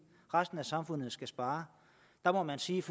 resten af samfundet skal spare der må man sige